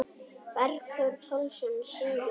Bergþór Pálsson syngur.